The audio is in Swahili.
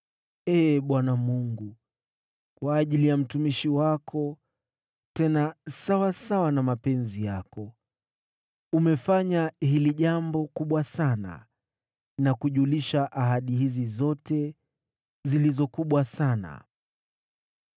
Ee Bwana Mungu. Kwa ajili ya mtumishi wako, tena sawasawa na mapenzi yako, umefanya jambo hili kubwa sana na kujulisha ahadi hizi zote zilizo kubwa sana.